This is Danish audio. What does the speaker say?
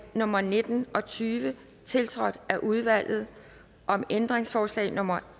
nummer nitten og tyve tiltrådt af udvalget om ændringsforslag nummer